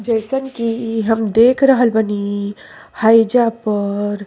जइसन कि हम देख रहल बानी हइजा पर --